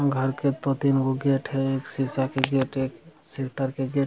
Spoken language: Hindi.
घर के दो-तीन गो गेट हैं एक शीशा के गेट एक के गेट --